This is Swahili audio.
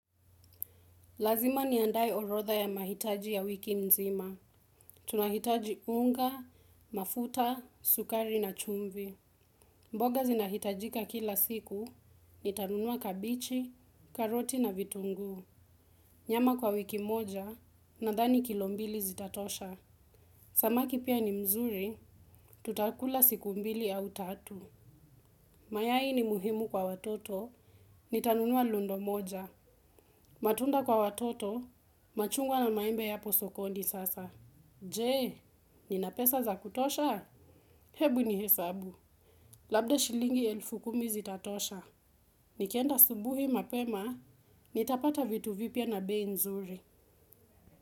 Lazima niandae orodha ya mahitaji ya wiki mzima. Tunahitaji unga, mafuta, sukari na chumvi. Mboga zinahitajika kila siku, nitanunua kabichi, karoti na vitunguu. Nyama kwa wiki moja, nadhani kilo mbili zitatosha. Samaki pia ni mzuri, tutakula siku mbili au tatu. Mayai ni muhimu kwa watoto, nitanunua lundo moja. Matunda kwa watoto, machungwa na maembe yapo sokoni sasa. Je, ninapesa za kutosha? Hebu nihesabu. Labda shilingi elfu kumi zitatosha. Nikienda asubuhi mapema, nitapata vitu vipya na bei nzuri.